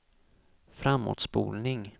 framåtspolning